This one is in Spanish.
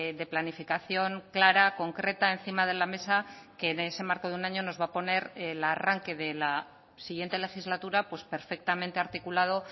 de planificación clara concreta encima de la mesa que en ese marco de un año nos va a poner el arranque de la siguiente legislatura pues perfectamente articulado